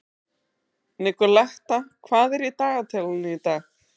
Nikoletta, hvað er í dagatalinu í dag?